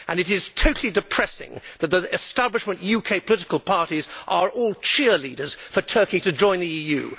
It is totally depressing that the establishment UK political parties are all cheerleaders for Turkey to join the EU.